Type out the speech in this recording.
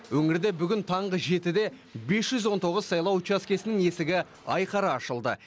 өңірде бүгін таңғы жетіде бес жүз он тоғыз сайлау учаскесінің есігі айқара ашылды